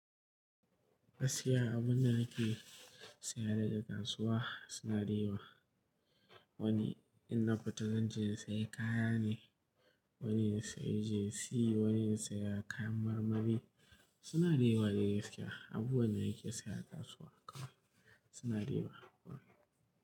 Gaskiya abun da ake saya daga kasuwa suna da yawa. Wani in na fita zanje in sayi kaya ne, wani ya sayi jesi, wani ya saya kayan marmari suna da yawa dai gaskiya. Abubuwan da nake saya a kasuwa kam suna yawa.